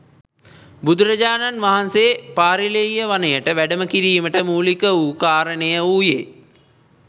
බුදුරජාණන් වහන්සේ පාරිල්‍යෙය වනයට වැඩම කිරීමට මූලික වූ කාරණය වූයේ